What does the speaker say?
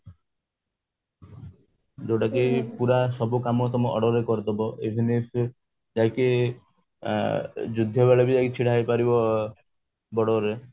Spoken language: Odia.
ଯୋଉଟା କି ପୁରା ସବୁ କାମ ତମ order ରେ କରିଦାବ even ଯାଇକି ଯୁଦ୍ଧ ବେଳେ ବି ଯାଇକି ଛିଡା ହେଇପାରିବ border ରେ